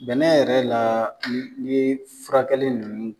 Bɛnɛ yɛrɛ la n'i ye furakɛli ninnu